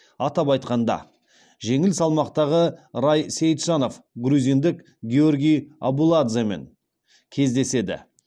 атап айтқанда жеңіл салмақтағы рай сейітжанов грузиндік гиорги абуладземен кездеседі